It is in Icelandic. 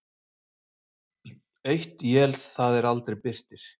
Eitt él það er aldrei birtir.